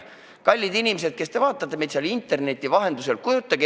Kallid inimesed, kes te vaatate meid interneti vahendusel!